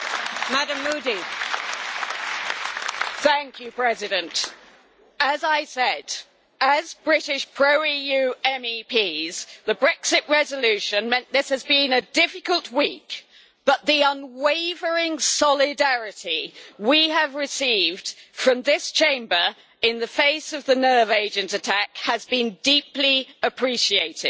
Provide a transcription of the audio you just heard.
Madam President, as I said, as British pro EU MEPs, the Brexit resolution meant this has been a difficult week, but the unwavering solidarity we have received from this Chamber, in the face of the nerve agent attack, has been deeply appreciated.